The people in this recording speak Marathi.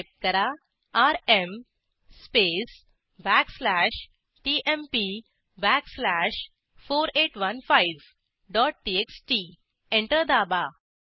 टाईप करा R M space backslash T M P backslash 4815 dot T X T enter दाबा